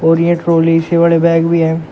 और यह ट्रॉली इससे बडी बैग भी हैं।